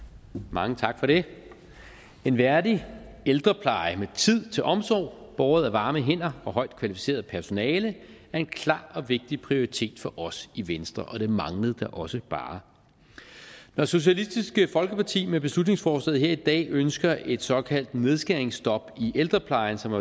mange tak for det en værdig ældrepleje med tid til omsorg båret af varme hænder og højt kvalificeret personale er en klar og vigtig prioritet for os i venstre og det manglede da også bare når socialistisk folkeparti med beslutningsforslaget her i dag ønsker et såkaldt nedskæringsstop i ældreplejen som